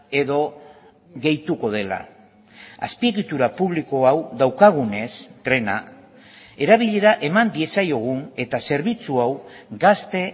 edo gehituko dela azpiegitura publiko hau daukagunez trena erabilera eman diezaiogun eta zerbitzu hau gazte